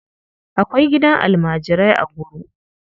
Akwai gidan almajirai a Nguru.